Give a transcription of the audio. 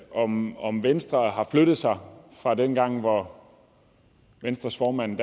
om om venstre har flyttet sig fra dengang hvor venstres formand